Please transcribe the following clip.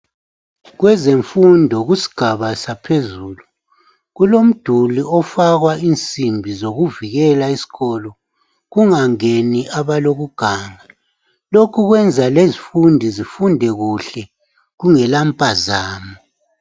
Kwezemfundo kusigaba saphezulu kulomduli ofakwa insimbi zokuvikela isikolo kungangeni abalokuganga lokho kwenza lezifundi zifunde kuhle kungela mpazamo.